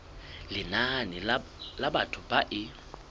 lenane la batho ba e